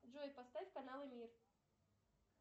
джой поставь каналы мир